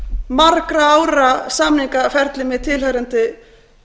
margra ára samningaferli með tilheyrandi